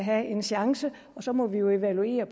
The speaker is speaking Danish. have en chance og så må vi jo evaluere